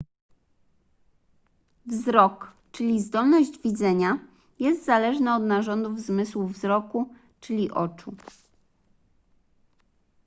wzrok czyli zdolność widzenia jest zależny od narządów zmysłu wzroku czyli oczu